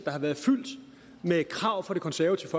har været fyldt med krav fra det konservative